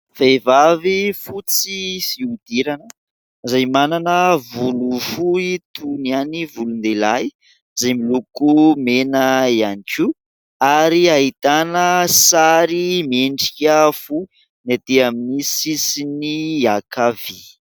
Vehivavy fotsy fihodirana izay manana volo fohy toy ny an'ny volon-dehilahy izay miloko mena ihany koa ary ahitana sary miendrika fo ny etỳ amin'ny sisiny ankavia.